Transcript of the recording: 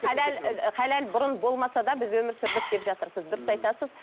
халал ы халал бұрын болмаса да біз өмір сүрдік деп жатырсыз дұрыс айтасыз